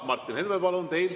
Martin Helme, palun!